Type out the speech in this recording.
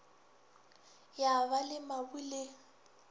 ya ba le mabu le